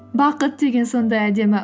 бақыт деген сондай әдемі